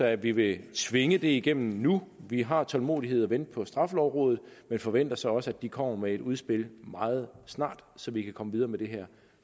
at vi vil tvinge det igennem nu vi har tålmodighed til at vente på straffelovrådet men forventer så også at de kommer med et udspil meget snart så vi kan komme videre med det her